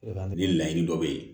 Ni laɲini dɔ bɛ ye